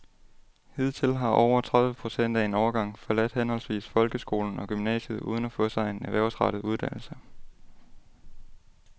Hidtil har over tredive procent af en årgang forladt henholdsvis folkeskolen og gymnasiet uden at få sig en erhvervsrettet uddannelse.